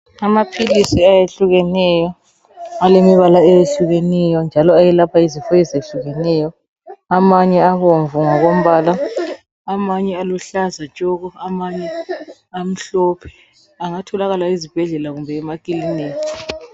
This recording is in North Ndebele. Amaphilisi eyehlukeneyo, alemibala eyehlukeneyo njalo eyelapha izifo ezehlukeneyo amanye abomvu ngokombala amanye aluhlaza tshoko amanye amhlophe angatholakala ezibhedlela kumbe emakilinika.